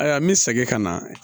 Ayiwa n bɛ segin ka na